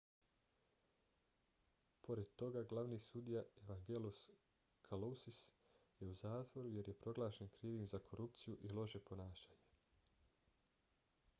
pored toga glavni sudija evangelos kalousis je u zatvoru jer je proglašen krivim za korupciju i loše ponašanje